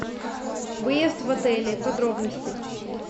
выезд в отеле подробности